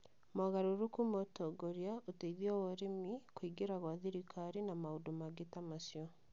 mogarũrũku ma ũtongoria, ũteithio wa ũrĩmi, kũingĩrĩra gwa thirikari, na maũndũ mangĩ ta macio